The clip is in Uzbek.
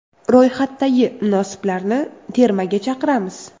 Ro‘yxatdagi munosiblarni termaga chaqiramiz.